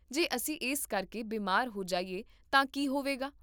ਜੇ ਅਸੀਂ ਇਸ ਕਰਕੇ ਬਿਮਾਰ ਹੋ ਜਾਈਏ ਤਾਂ ਕੀ ਹੋਵੇਗਾ ?